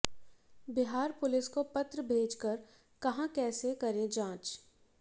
Bihar police को पत्र भेजकर कहा कैसे करें जांच